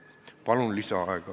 Palun lisaaega!